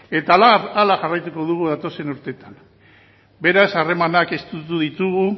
eta horrela jarraituko dugu datozen urteetan beraz harremanak estutu ditugu